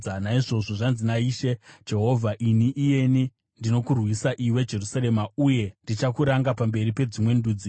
“Naizvozvo zvanzi naIshe Jehovha: Ini iyeni ndinokurwisa iwe Jerusarema, uye ndichakuranga pamberi pedzimwe ndudzi.